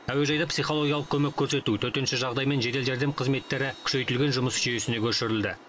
әуежайда психологиялық көмек көрсету төтенше жағдай мен жедел жәрдем қызметтері күшейтілген жұмыс жүйесіне көшірілді